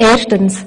Erstens